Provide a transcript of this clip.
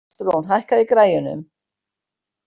Ástrún, hækkaðu í græjunum.